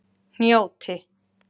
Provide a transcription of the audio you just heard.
Hnjóti